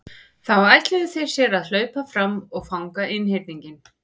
Þá ætluðu þeir sér að hlaupa fram og fanga einhyrninginn.